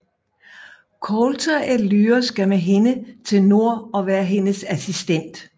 Coulter at Lyra skal med hende til nord og være hendes assistent